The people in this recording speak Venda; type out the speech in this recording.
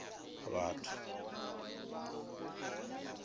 vhathu